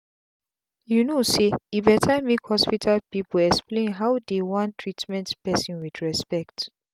you no say e better make hospital people explain how dey wan treatment person with respect.